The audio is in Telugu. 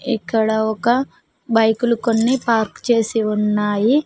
ఇక్కడ ఒక బైకులు కొన్ని పార్కు చేసి ఉన్నాయి.